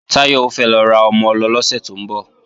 Táyọ̀ fẹ́ lọ ra ọmọ-ọlọ lọ́sẹ̀ tó ń bọ̀